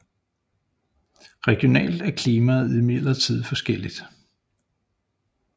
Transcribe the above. Regionalt er klimaet imidlertid meget forskelligt